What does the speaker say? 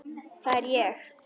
Það er ég.